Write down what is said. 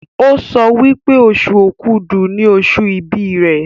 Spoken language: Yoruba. o sọ wípé Oṣù Òkúdu ní oṣù ibì rẹ.